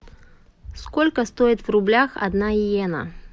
сколько стоит в рублях одна йена